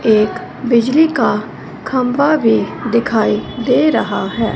एक बिजली का खंबा भी दिखाई दे रहा हैं।